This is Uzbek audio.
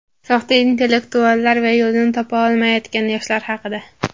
soxta intellektuallar va yo‘lini topa olmayotgan yoshlar haqida.